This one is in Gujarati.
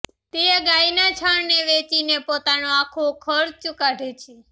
તે ગાયના છાણને વેચીને પોતાનો આખો ખર્ચ કાઢે છે